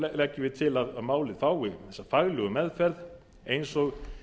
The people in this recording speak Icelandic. leggjum við til að málið fái þessa faglegu meðferð eins og